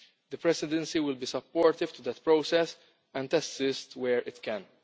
The Presidency will be supportive of that process and assist where it can.